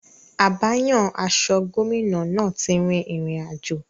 Abáyan-aṣọ gómìnà náà ti rin ìrìn àjò.